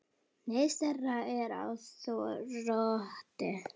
Neyðin stærsta er á þroti.